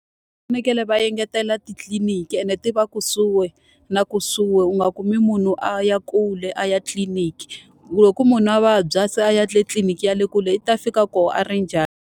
Va fanekele va engetela titliliniki ene ti va kusuhi na kusuhi, u nga kumi munhu a ya kule a ya tliliniki. Hikuva loko munhu a vabya se a ya tliliniki ya le kule, i ta fika kona a ri njhani?